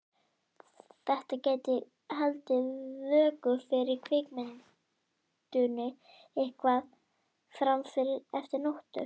Þetta gæti haldið vöku fyrir kvikindinu eitthvað fram eftir nóttu.